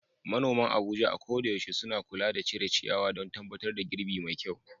Manoman Abuja a koda yaushe suna kula da cire ciyawa don tabbatar da girbi mai kyau.